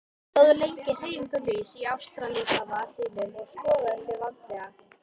Hann stóð lengi hreyfingarlaus í astrallíkama sínum og skoðaði sig vandlega.